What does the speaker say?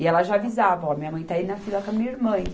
E ela já avisava, ó, minha mãe está aí na fila com a minha irmã.